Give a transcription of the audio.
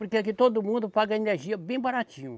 Porque aqui todo mundo paga energia bem baratinho.